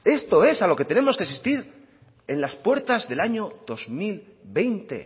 esto es a lo que tenemos que asistir en las puertas del año dos mil veinte